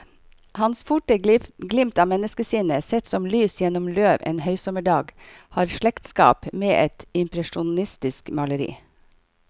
Hans forte glimt av menneskesinnet, sett som lys gjennom løv en høysommerdag, har slektskap med et impresjonistisk maleri.